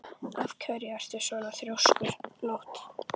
Af hverju ertu svona þrjóskur, Nótt?